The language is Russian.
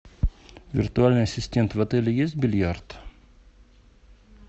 виртуальный ассистент в отеле есть бильярд